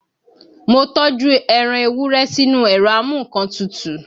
Mo tọ́jú ẹran Ewúrẹ́ sínú ẹ̀rọ a mú nǹkan tutù